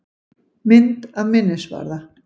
Mynd af minnisvarða.